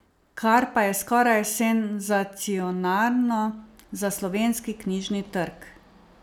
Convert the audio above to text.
Kar pa je skoraj senzacionalno za slovenski knjižni trg.